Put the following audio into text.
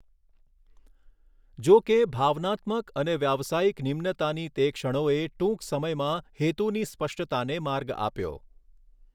જો કે, ભાવનાત્મક અને વ્યાવસાયિક નિમ્નતાની તે ક્ષણોએ ટૂંક સમયમાં હેતુની સ્પષ્ટતાને માર્ગ આપ્યો.